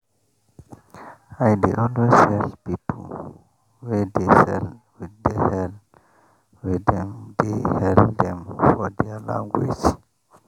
i dey always hail people wey dey sell with the hail wey dem dey hail dem for their language